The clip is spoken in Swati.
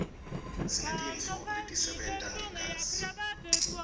sinetintfo letisebenta ngagezi